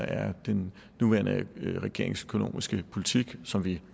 er den nuværende regerings økonomiske politik som vi